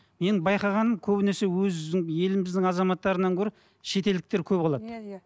менің байқағаным көбінесе өзім еліміздің азаматтарынан гөрі шетелдіктер көп алады иә иә